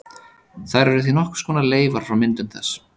Þær eru því nokkurs konar leifar frá myndun þess.